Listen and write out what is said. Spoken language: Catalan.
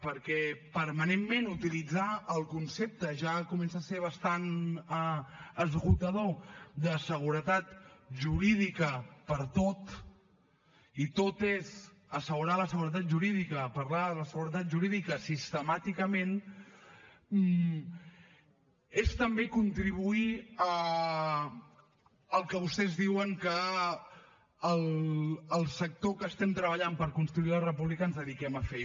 perquè permanentment utilitzar el concepte ja comença a ser bastant esgotador de seguretat jurídica per a tot i tot és assegurar la seguretat jurídica parlar de la seguretat jurídica sistemàticament és també contribuir al que vostès diuen que el sector que estem treballant per construir la república ens dediquem a fer